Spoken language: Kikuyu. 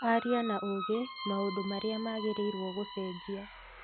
Aria na uuge maũndũ marĩa magĩrĩirwo gũcenjia